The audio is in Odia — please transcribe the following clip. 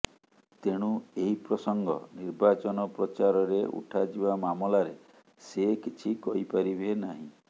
ତେଣୁ ଏହି ପ୍ରସଙ୍ଗ ନିର୍ବାଚନ ପ୍ରଚାରରେ ଉଠାଯିବା ମାମଲାରେ ସେ କିଛି କହିପାରିବେ ନାହିଁ